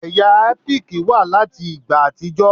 Ẹ̀yà ẹ́píìkì wà láti ìgbà àtijọ́.